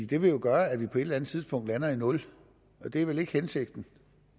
det vil jo gøre at vi på et eller andet tidspunkt lander i nul og det er vel ikke hensigten